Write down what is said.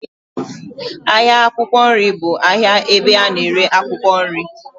Ahịa akwụkwọ nri bụ ahịa ebe a na-ere akwụkwọ nri.